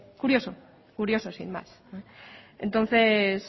curioso curioso sin más entonces